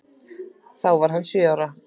Þá var hann sjö ára.